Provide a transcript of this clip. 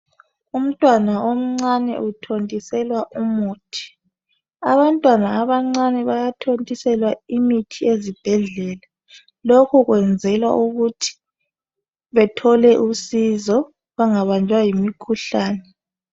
Umntwana omncane uthontiselwa umuthi abantwana abancane bayathontiselwa imithi ezibhedlela lokhu kwenzala ukuthi bethole usizo bengabanjwa yimikhuhlane